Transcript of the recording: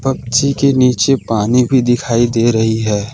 पक्षी के नीचे पानी भी दिखाई दे रही है।